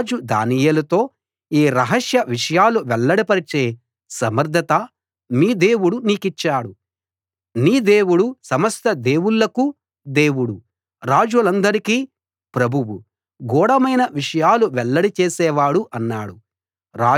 రాజు దానియేలుతో ఈ రహస్య విషయాలు వెల్లడిపరిచే సమర్థత మీ దేవుడు నీకిచ్చాడు నీ దేవుడు సమస్త దేవుళ్ళకు దేవుడు రాజులందరికీ ప్రభువు గూఢమైన విషయాలు వెల్లడి చేసేవాడు అన్నాడు